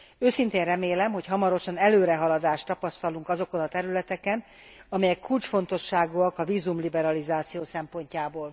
Őszintén remélem, hogy hamarosan előrehaladást tapasztalunk azokon a területeken, amelyek kulcsfontosságúak a vízumliberalizáció szempontjából.